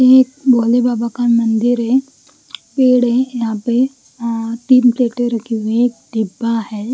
एक भोले बाबा का मंदिर है पेड़ है यहाँ पे अं तीन प्लेटें रखी हुई है एक डिब्बा है।